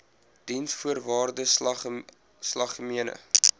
diensvoorwaardesalgemene